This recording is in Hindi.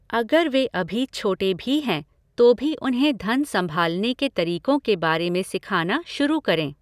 अगर वे अभी छोटे भी हैं तो भी उन्हें धन सँभालने के तरीकों के बारे में सिखाना शुरू करें।